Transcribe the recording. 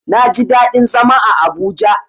Naji daɗin zama a Abuja.